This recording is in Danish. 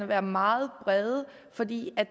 være meget brede fordi